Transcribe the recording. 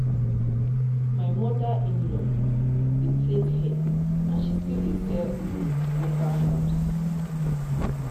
my mother-in-law dey plait hair and she still dey sell um local herbs.